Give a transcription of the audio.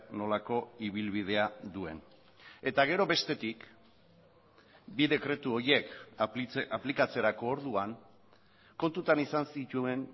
nolako ibilbidea duen eta gero bestetik bi dekretu horiek aplikatzerako orduan kontutan izan zituen